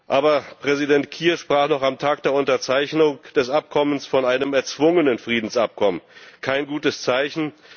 Aber Präsident Kiir sprach noch am Tag der Unterzeichnung des Abkommens von einem erzwungenen Friedensabkommen kein gutes Zeichen.